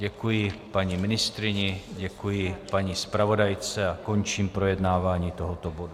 Děkuji paní ministryni, děkuji paní zpravodajce a končím projednávání tohoto bodu.